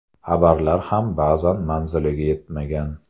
Xabarlar ham ba’zan manziliga yetmagan.